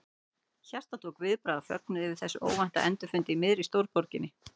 Hjartað tók viðbragð af fögnuði yfir þessum óvænta endurfundi í miðri stórborginni.